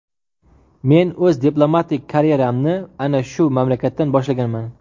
Men o‘z diplomatik karyeramni ana shu mamlakatdan boshlaganman.